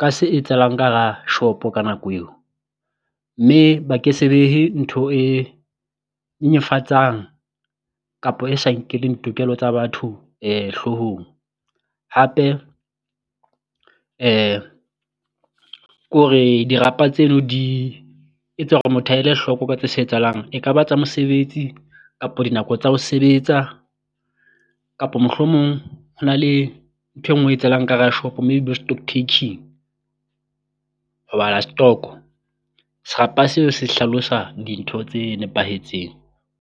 ka se etsahalang ka hara shop-o ka nako eo. Mme ba ke se behe ntho e nyenyefatsang kapo e sa nkeleng tokelo tsa batho hloohong, hape ke hore dirapa tseno di etsa hore motho a ele hloko o batle ka se etsahalang e ka ba tsa mosebetsi kapo dinako tsa ho sebetsa, kapo mohlomong ho na le nthwe ngwe e etsahalang ka hara shop-o maybe bo stock tacking ho bala stock-o, serapa seo se hlalosa dintho tse nepahetseng.